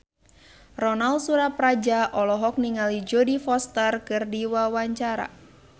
Ronal Surapradja olohok ningali Jodie Foster keur diwawancara